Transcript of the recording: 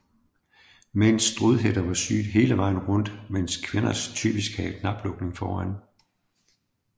Mænds strudhætter var syet hele vejen rundt mens kvinders typisk havde knaplukning foran